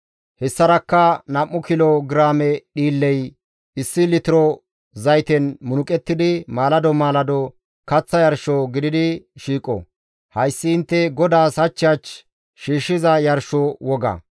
Hessarakka nam7u kilo giraame dhiilley issi litiro zayten munuqettidi, maalado maalado kaththa yarsho gididi shiiqo. Hayssi intte GODAAS hach hach shiishshiza yarsho woga.